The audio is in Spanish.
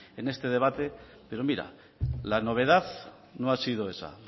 en este debate pero mira la novedad no ha sido esa